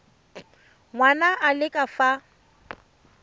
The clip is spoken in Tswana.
ngwana a le ka fa